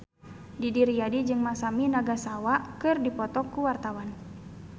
Didi Riyadi jeung Masami Nagasawa keur dipoto ku wartawan